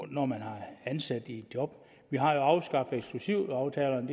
når man er ansat i et job vi har afskaffet eksklusivaftalerne